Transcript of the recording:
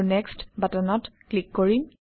আৰু নেক্সট্ বাটনত ক্লিক কৰিম